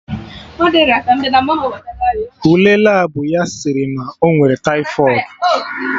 Ule Labụ ya sịrị na ọ nwere taifọịd